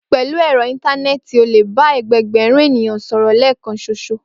Pè̩lú è̩ro̩ íńtáné̩è̩tì, o lè bá e̩gbe̩gbè̩rún ènìyàn sòrò̩ lé̩è̩kan s̩oṣo